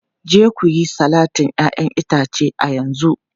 Je ku yi salatin 'ya'yan itace a yanzu!